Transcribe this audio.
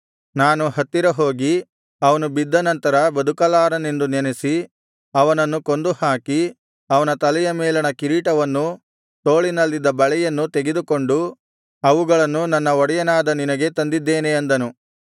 ನಾನು ಹತ್ತಿರ ಹೋಗಿ ಅವನು ಬಿದ್ದನಂತರ ಬದುಕಲಾರನೆಂದು ನೆನಸಿ ಅವನನ್ನು ಕೊಂದು ಹಾಕಿ ಅವನ ತಲೆಯ ಮೇಲಣ ಕಿರೀಟವನ್ನೂ ತೋಳಿನಲ್ಲಿದ್ದ ಬಳೆಯನ್ನೂ ತೆಗೆದುಕೊಂಡು ಅವುಗಳನ್ನು ನನ್ನ ಒಡೆಯನಾದ ನಿನಗೆ ತಂದಿದ್ದೇನೆ ಅಂದನು